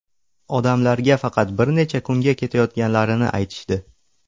Odamlarga faqat bir necha kunga ketayotganlarini aytishdi.